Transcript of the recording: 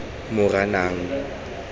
moranang